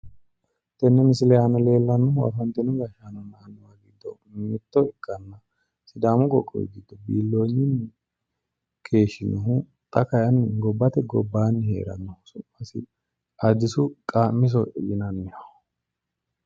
tenne misile aana leellannohu afantino gashshaano giddo mitto ikkanna sidaamu qoqowi giddo biilloonyunni keeshshinohu xa kayiinni gobbate gobbaanni heeranno su'misi addisu qaammiso yinanniho.